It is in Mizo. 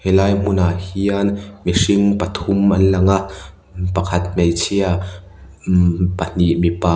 ti lai hmunah hian mihring pathum an lang a pakhat hmeichhia mm pahnih mipa --